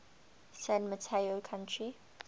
san mateo county